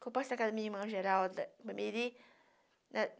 Que eu passei na casa da minha irmã Geralda Ipameri.